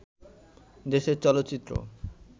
দেশের চলচ্চিত্র